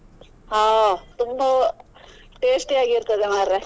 ಹಾ ತುಂಬಾ tasty ಆಗಿರ್ತದೆ ಮರ್ರೆ.